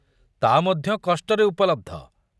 ତା ମଧ୍ୟ କଷ୍ଟରେ ଉପଲବ୍ଧ।